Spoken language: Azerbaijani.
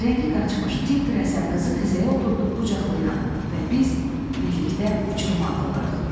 Rəngi qaçmış, tir-tir əsən qızı xizəyə oturdub qucaqlayıram və biz birlikdə uçuruma atılırıq.